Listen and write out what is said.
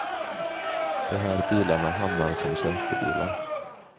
De här bilarna hamnar som tjänstebilar.